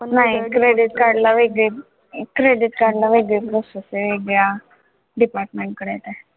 नाही credit card ला वेगळे credit card ला वेगळे process आहे. वेगळ्या department कडे आहे ते,